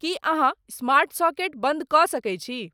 की अहाँस्मार्ट सॉकेट बंद क सके छी